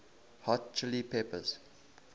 hot chili peppers